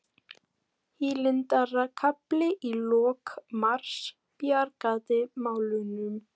Hlýindakafli í lok mars bjargaði málunum